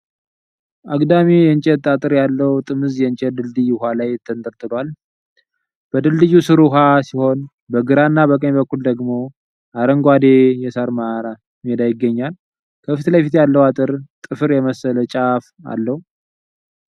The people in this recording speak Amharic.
አግዳሚ የእንጨት አጥር ያለው ጥምዝ የእንጨት ድልድይ ውኃ ላይ ተንጠልጥሏል:: በድልድዩ ስር ውኃ ሲሆን በግራና በቀኝ በኩል ደግሞ አረንጓዴ የሣር ሜዳ ይገኛል:: ከፊት ለፊት ያለው አጥር ጥፍር የመሰለ ጫፍ አለው::